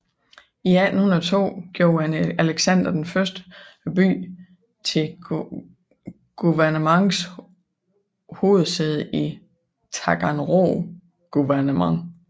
I 1802 gjorde Alexander I byen til guvernements hovedsæde i Taganrog guvernement